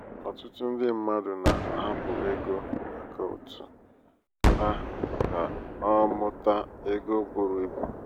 ọtụtụ ndị um mmadụ na-ahapụ égo akaụtụ ha ka ọ um mụta égo buru um ibu.